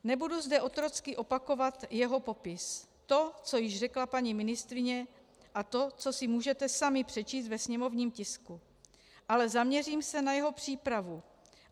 Nebudu zde otrocky opakovat jeho popis, to, co již řekla paní ministryně, a to, co si můžete sami přečíst ve sněmovním tisku, ale zaměřím se na jeho přípravu.